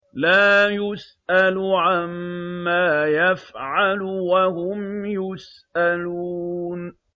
لَا يُسْأَلُ عَمَّا يَفْعَلُ وَهُمْ يُسْأَلُونَ